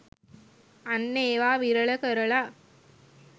අන්න ඒවා විරල කරලා